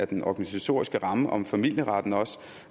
den organisatoriske ramme om familieretten